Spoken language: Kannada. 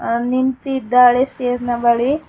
ಅಲ್ ನಿಂತಿದ್ದಾಳೆ ಸ್ಟೇಜ್ ನ ಬಳಿ.